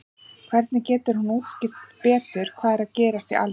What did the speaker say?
Hvernig getur hún útskýrt betur hvað er að gerast í alheiminum?